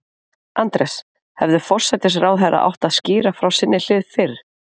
Andrés, hefði forsætisráðherra átt að skýra frá sinni hlið fyrr?